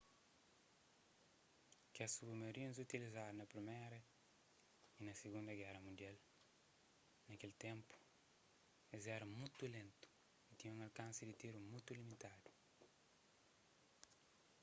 kes submarinus utilizadu na priméra y na sigunda géra mundial na kel ténpu es éra mutu lentu y tinha un alkansi di tiru mutu limitadu